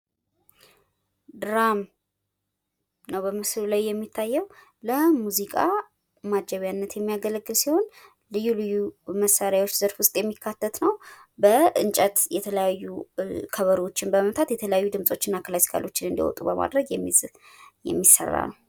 ድራም ነዉ በምስሉ ላይ የሚታየዉ። ለሙዚቃ ማጀቢያነት የሚያገለግል ሲሆን ልዩ ልዩ መሳሪያዎች ዘርፍ ዉስጥ የሚካተት ነዉ። በእንጨት የተለያዩ ከበሮዎችን በመምታት የተለያዩ ድምፆችን እና ክላሲካሎችን እንዲያወጡ በማድረግ የሚሰራ ነዉ።